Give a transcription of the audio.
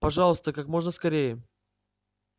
пожалуйста как можно скорее